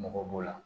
Mɔgɔ b'o la